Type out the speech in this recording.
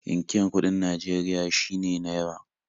Inkiyar kuɗin Najeria shine "₦"